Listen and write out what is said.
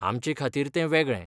आमचेखातीर तें वेगळें!